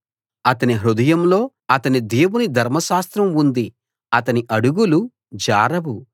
అతని హృదయంలో అతని దేవుని ధర్మశాస్త్రం ఉంది అతని అడుగులు జారవు